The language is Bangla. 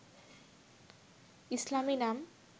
ইসলামী নাম